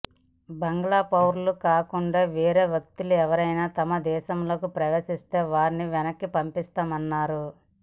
బంగ్లా పౌరులు కాకుండా వేరే వ్యక్తులెవరైనా తమ దేశంలోకి ప్రవేశిస్తే వారిని వెనక్కి పంపిస్తామన్నారు